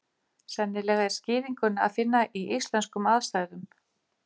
Sennilega er skýringuna að finna í íslenskum aðstæðum.